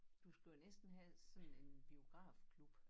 Du skal jo næsten have sådan en biografklub